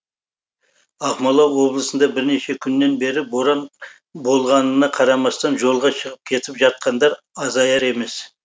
ақмола облысында бірнеше күннен бері боран болғанына қарамастан жолға шығып кетіп жатқандар азаяр емес